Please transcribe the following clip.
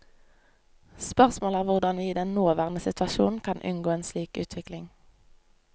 Spørsmålet er hvordan vi i den nåværende situasjon kan unngå en slik utvikling.